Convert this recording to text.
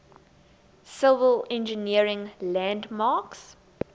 civil engineering landmarks